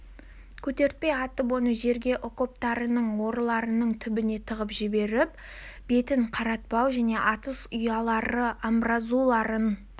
көтертпей атып оны жерге окоптарының орларының түбіне тығып жіберу бетін қаратпау және атыс ұялары амбразураларын